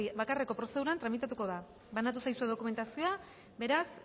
bakarreko prozeduran tramitatuko da banatu zaizue dokumentazioa beraz